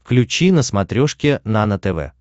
включи на смотрешке нано тв